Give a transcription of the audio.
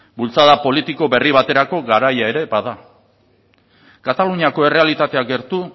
bultzada politiko berri baterako garaia ere bada kataluniako errealitatea gertu